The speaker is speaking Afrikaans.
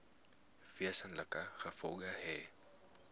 wesenlike gevolge hê